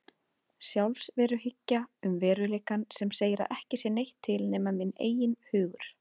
Sjálfsveruhyggja um veruleikann sem segir að ekki sé neitt til nema minn eigin hugur.